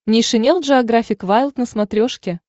нейшенел джеографик вайлд на смотрешке